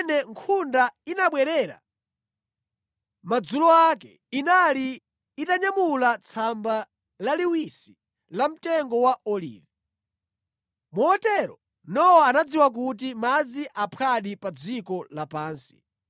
Pamene nkhunda inabwerera madzulo ake, inali itanyamula tsamba laliwisi la mtengo wa olivi. Motero Nowa anadziwa kuti madzi aphwadi pa dziko lapansi.